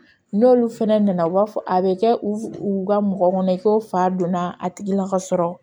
N'olu fɛnɛ nana u b'a fɔ a bɛ kɛ u u ka mɔgɔ kɔnɔ i ko fa donna a tigi la ka sɔrɔ